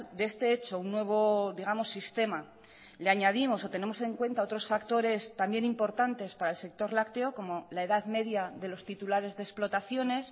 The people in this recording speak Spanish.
de este hecho un nuevo digamos sistema le añadimos o tenemos en cuenta otros factores también importantes para el sector lácteo como la edad media de los titulares de explotaciones